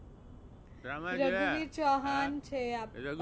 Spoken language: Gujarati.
રઘુવીર ચૌહાણ છે